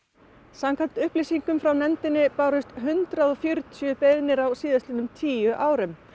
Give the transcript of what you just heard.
samkvæmt upplýsingum frá nefndinni bárust hundrað og fjörutíu beiðnir á síðastliðnum tíu árum